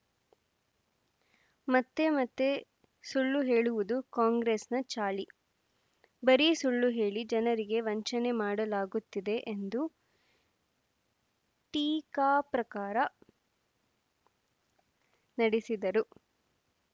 ಮತ್ತೆ ಮತ್ತೆ ಸುಳ್ಳು ಹೇಳುವುದು ಕಾಂಗ್ರೆಸ್‌ನ ಚಾಳಿ ಬರೀ ಸುಳ್ಳು ಹೇಳಿ ಜನರಿಗೆ ವಂಚನೆ ಮಾಡಲಾಗುತ್ತಿದೆ ಎಂದು ಟೀಕಾಪ್ರಕಾರ ನಡೆಸಿದರು